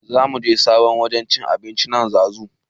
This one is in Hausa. Zamuje sabon wajen cin abincin nan zazu